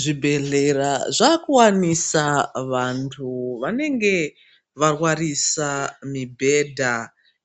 Zvibhedhlera zvakuwanisa vanthu vanenge varwarisa mibhedha.